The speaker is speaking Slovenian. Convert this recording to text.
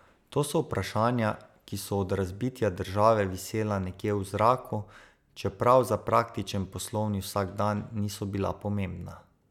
To so vprašanja, ki so od razbitja države visela nekje v zraku, čeprav za praktičen poslovni vsakdan niso bila pomembna.